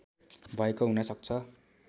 भएको हुन सक्छ